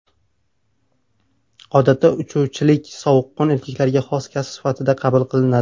Odatda, uchuvchilik sovuqqon erkaklarga xos kasb sifatida qabul qilinadi.